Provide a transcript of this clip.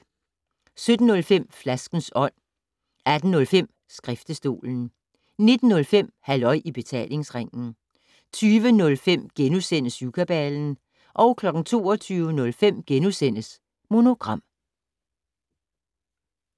17:05: Flaskens Ånd 18:05: Skriftestolen 19:05: Halløj i Betalingsringen 20:05: Syvkabalen * 22:05: Monogram *